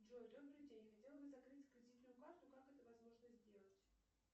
джой добрый день хотела бы закрыть кредитную карту как это возможно сделать